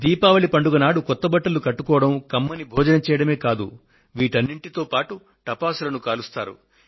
దీపావళి పండుగ నాడు కొత్త బట్టలు కట్టుకోవడం కమ్మని భోజనం చేయడమే కాకుండా టపాకాయలను కాలుస్తారు